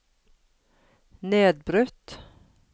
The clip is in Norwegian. nedbrutt